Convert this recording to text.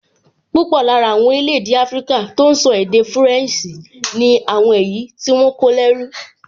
Púpọ̀ lára àwọn orílẹ̀-èdè áfríkà tó n sọ èdè fúrẹ̀nsì ni àwọn èyí tí wọ́n kó lẹ́rú